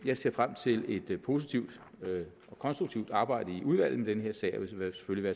jeg ser frem til et positivt og konstruktivt arbejde i udvalget med den her sag og vil selvfølgelig